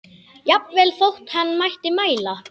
Jafnvel þótt hann mætti mæla.